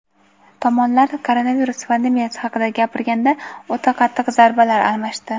Tomonlar koronavirus pandemiyasi haqida gapirganda o‘ta qattiq "zarba"lar almashdi.